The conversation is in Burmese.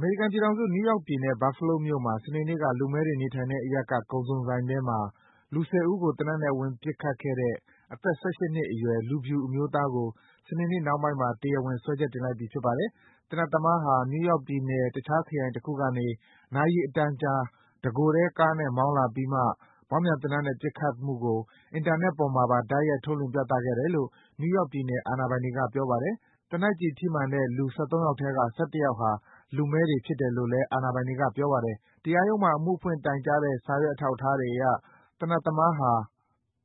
မေရိကန်ပြည်ထောင်စု၊ နယူးယောက်ပြည်နယ်၊ Buffalo မြို့မှာ စနေနေ့က လူမည်းတွေနေထိုင်တဲ့အရပ်က ကုန်စုံဆိုင်ထဲမှာ လူ ၁၀ ဦးကို သေနတ်နဲ့ ဝင်ပစ်ခတ်ခဲ့တဲ့ အသက် ၁၈ နှစ်အရွယ် လူဖြူအမျိုးသားကို စနေနေ့နှောင်းပိုင်းမှာ တရားဝင် စွဲချက်တင်လိုက်ပြီ ဖြစ်ပါတယ်။ သေနတ်သမားဟာ နယူးယောက်ပြည်နယ်၊ တခြားခရိုင်တခုကနေ နာရီအတန်ကြာ တကိုယ်တည်း ကားနဲ့မောင်းလာပြီးမှ မောင်းပြန်သေနတ်နဲ့ ပစ်ခတ်မှုကို အင်တာနက်ပေါ်မှာပါ တိုက်ရိုက်ထုတ်လွင့် ပြသခဲ့တယ်လို့ နယူးယောက်ပြည်နယ် အာဏာပိုင်တွေက ပြောပါတယ်။ သေနတ်ကျည်ထိမှန်တဲ့ လူ ၁၃ ယောက်ထဲက ၁၁ ယောက်ဟာ လူမည်းတွေဖြစ်တယ်လို့လည်း အာဏာပိုင်တွေက ပြောပါတယ်။ တရားရုံးမှာ အမှုဖွင့်တိုင်ကြားတဲ့ စာရွက် အထောက်အထားတွေအရ သေနတ်သမားဟာ